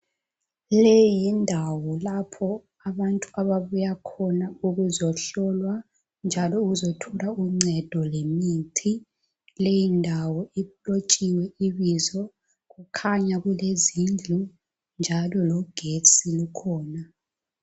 Leyi yindawo lapho abantu ababuya khona ukuzohlolwa njalo ukuzothola uncedo lemithi. Leyi ndawo ilotshiwe ibizo, kukhanya kulezindlu njalo logetsi ukhona.